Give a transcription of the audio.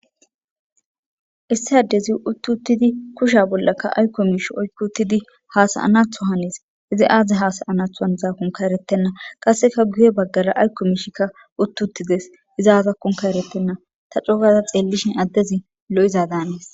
issi addezi uttutidi kusha bollaka aykko mish oykkutidi hasayanatho hanis izi aaze hasayanatho haniza konka eretenna qasseka guye baggara ayko miishikka uttuttides izaazakkonka erettenna ta cogaza xeellishin addezi lo7iza daanees